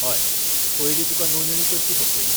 हय, पयलीं तुका नोंदणी करची पडटली.